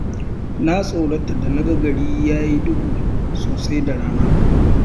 Na tsorata da naga gari yayi duhu sosai da rana.